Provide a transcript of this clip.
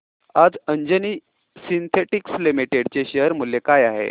आज Anjani synthetics limited चे share मूल्य काय आहे